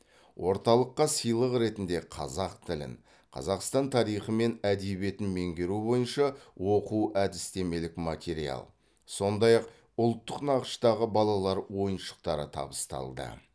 орталыққа сыйлық ретінде қазақ тілін қазақстан тарихы мен әдебиетін меңгеру бойынша оқу әдістемелік материал сондай ақ ұлттық нақыштағы балалар ойыншықтары табысталды